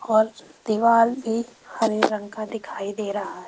और दीवाल भी हरे रंग का दिखाई दे रहा है।